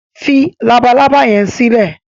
fí Labalábá yén silẹ!